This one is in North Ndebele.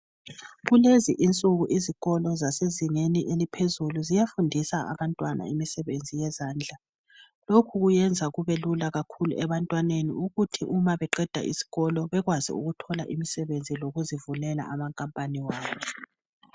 Kulezi insuku izikolo zasezingeni eliphezulu ziyafundisa abantwana imisebenzi yezandla lokhu kuyenza kube lula kakhulu ebantwaneni ukuthi uma beqeda isikolo bekwazi ukuthola imisebenzi lokuzi vulela amakampani wabo